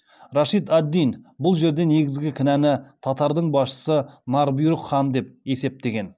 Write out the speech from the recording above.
рашид ад динбұл жерде негізгі кінәны татар дың басшысы нар бұйрық хан деп есептеген